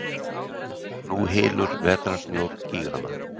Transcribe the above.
Nú hylur vetrarsnjór gígana.